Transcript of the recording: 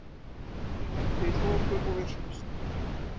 Þeir lentu í þoku og villtust.